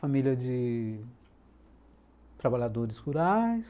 Família de trabalhadores rurais.